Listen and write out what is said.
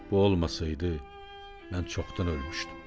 Bu olmasaydı, mən çoxdan ölmüşdüm.